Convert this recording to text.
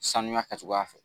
Sanuya kɛcogoya fɛ